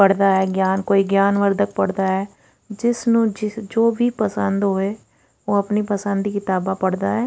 ਪੜ੍ਹਦਾ ਆ ਗਿਆਨ ਕੋਈ ਗਿਆਨ ਵੰਡਦਾ ਪੜ੍ਹਦਾ ਆ ਜਿਸ ਨੂੰ ਜੋ ਵੀ ਪਸੰਦ ਹੋਵੇ ਉਹ ਆਪਣੀ ਪਸੰਦ ਦੀ ਕਿਤਾਬਾਂ ਪੜ੍ਹਦਾ ਆ।